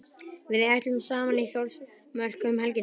Við ætlum saman í Þórsmörk um helgina.